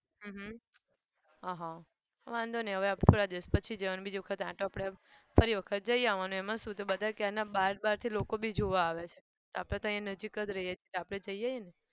હમ અહ વાંધો નહિ હવે આપણે થોડા દિવસ પછી જવાનું બીજી વખત આંટો પડે એમ ફરી વખત જઈ આવનું એમાં શું. બધા ક્યારના બાર બારથી લોકો બી જોવા આવે છે. આપણે તો અહીંયા નજીક રહીએ છે આપણે જઈ આવીને.